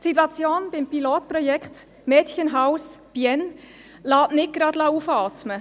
Die Situation beim Pilotprojekt Mädchenhaus Bienne lässt nicht gerade aufatmen.